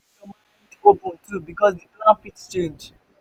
keep your mind open too because di plan fit change